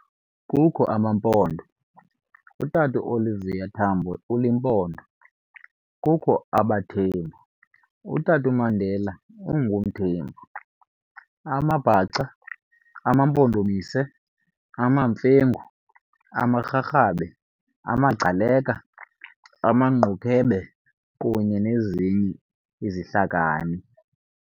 Kukho amaMpondo, utata uOliver Tambo uliMpondo, Kukho abaThembu, utata uMandela ungumThembu, amaBhaca, amaMpondomise, amaMfengu, amaRharhabe, amaGcaleka, amaNgqunukhwebe kunye nezinye izihlakani.